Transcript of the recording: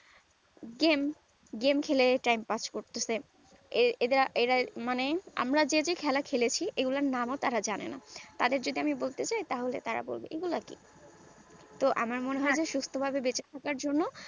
game game খেলে time pass করতেছে এর এদের এরা মানে আমরা যেই যেই খেলা খেলেছি এদের নাম এরা জানে না তাদের যদি আমরা বলতে যাই তারা বলবে এগুলা কি তো আমার মনে হয় সুস্থ ভাবে বেঁচে থাকার জন্য